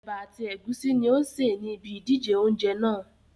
Ẹ̀bà àti ẹ̀gúsí ní ó ń sè ní ibí ìdíje oúnjẹ náà